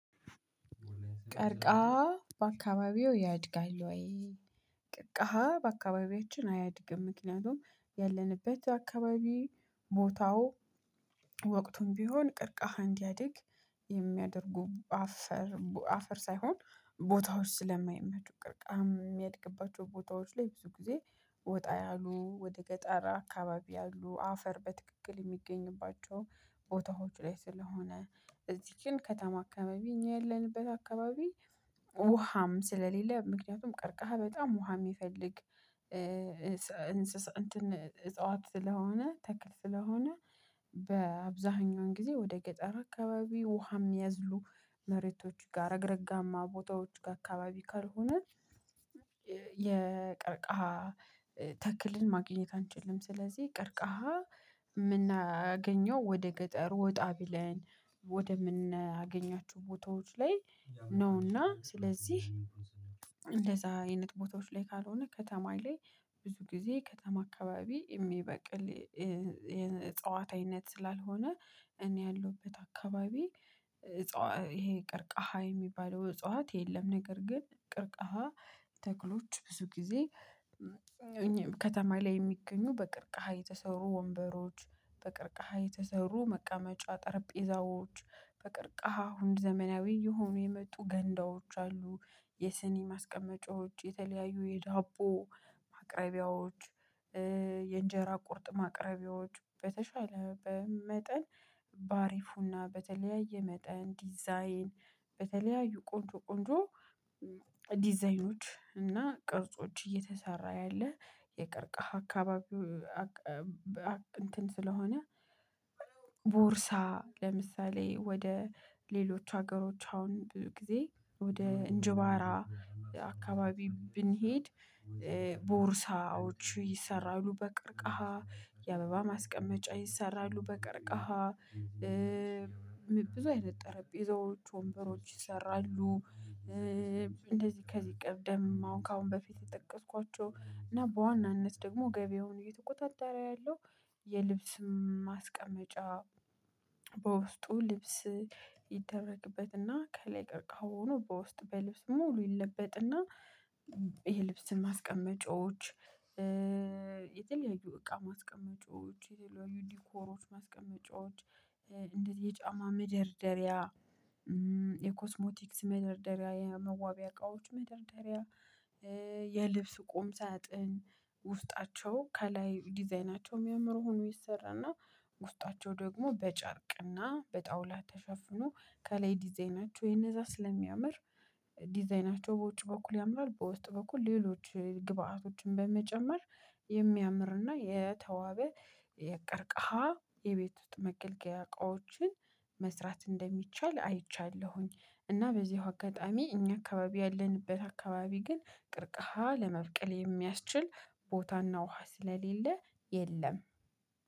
ቀርቃሃ በአካባቢዎ ያድጋል ወይ? ቅርቅሃ በአካባቢያችን አያድግም ምክንያቱም ያለንበት አካባቢ ቦታው ወቅቱም ቢሆን ቅርቃሃን እዲያድግ የሚያደርጉ አፈር አፈር ሳይሆን ቦታዎች ስለማይመቹ ቅርቃም እሚያድግባቸው ቦታዎች ላይ ብዙ ጊዜ ወጣ ያሉ ወደ ገጠር አካባቢ ያሉ አፈር በትክክል እሚገኝባቸው ቦታዎች ላይ ስለሆነ እዚህ ግን ከተማ አካባቢ እኛ ያለንበት አካባቢ ውሃም ስለሌለ ምክንያቱም ቀርቀሃ በጣም ውሃ የሚፈልግ እንስሳ እንትን እጽዋት ስለሆነ ተክል ስለሆነ በአብዛኛውን ጊዜ ወደ ገጠር አካባቢ ውሃ እሚያዝሉ መሬቶች ጋር ረግረጋማ ቦታዎች ጋ አካባቢ ካልሆሆነ የቀርቃሃ ተክልን ማግኘት አንችልም። ስለዚህ ቀርቃሃ እምናገኘው ወደ ገጠር ወጣ ብለን ወደ እምናገኛቸው ቦታዎች ላይ ነውና ስለዚህ እንደዛ አይነት ቦትዎች ላይ ካልሆነ ከተማ ላይ ብዙ ጊዜ ከተማ አካባቢ እሚበቅል የእፅዋት አይነት ስላልሆነ እኔ ያለሁበት አካባቢ ይሄ ቀርቃሃ የሚባለው እጽዋት የለም። ነገር ግን ቅርቃሃ ተክሎች ብዙ ጊዜ ከተማ ላይ እሚገኙ በቅርቃሃ የተሰሩ ወንበሮች በቅርቃሃ የተሰሩ መቃመጫ ጠረጴዛዎች በቅርቃሃ ዘመናዊ የሆኑ የመጡ ገንዳዎች አሉ የስኒ ማስቀመጫዎች የተለያዩ የዳቦ ማቅረቢያዎች። የእንጀራ ቁርጥም ማቅርቢያዎች በተሻለ በመጠን በአሪፉና በተለያየ መጠን ዲዛይን በተለያዩ ቆንጆ ቆንጆ ዲዛይኖች እና ቅርጾች እየተሰራ ያለ የቀርቀሃ እንትን ስለሆነ ቦርሳ ለምሳሌ ወደ ሌሎች ሀገሮች አሁን ብዙ ጊዜ ወደ እንጀባራ አካባቢ ብንሄድ ቦርሳዎች ይሰራሉ በቀርቀሃ የአበባ ማስቀመጫ ይሰራሉ በቀርቀሃ ብዙ አይነት ጠረጴዛዎች ወንበሮች ይሰራሉ። እንደዚህ ከዚህ ቀደም አሁን ከአሁን በፊት የጠቀስኳቸው እና በዋናነት ደግሞ ገቢያውን እየተቆጣጠረ ያለው የልብስ ማስቀመጫ በውስጡ ልብስ ይደረግበትና ከላይ ቀርቀሃው ሆኖ በውስጥ በልብስ ሙሉ ይለበጥና የልብስን ማስቀመጫዎች። እቃ ማስቀመጫዎች የተለያዩ ዲኮሮች ማስቀመጫዎች እንደ ዚህ የጫማ መደርደሪያ የኮስሞቲክስ መደርደሪያ የመዋቢያ እቃዎች መደርደሪያ ቁም ሳጥን ውስጣቸው ከላይ ዲዛይናቸው እሚያምር ሁኖ ይሰራና ውስጣቸው ደግሞ በጨርቅና በጣውላ ተሸፍኖ ከላይ ዲዛይናቸው የእነዛ ስለሚያምር ዲዛይናቸው በውጭ በኩል ያምራል በውስጥ በኩል ሌሎች ግብአቶችን በመጨመር የተዋበ የቀርቀሃ የቤት ውስጥ መገልገያ እቃዎችን መስራት እንደሚቻል አይቻለሁኝ። እና በዚሁ አጋጣሚ እኛ አካባቢ ያለንበት አካባቢ ግን ቅርቀሃ ለመብቀል የሚያስችል ቦታና ውሃ ስለሌለ የለም።